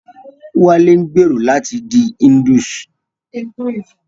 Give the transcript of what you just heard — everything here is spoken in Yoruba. Wálé ń gbèrò láti di Hindus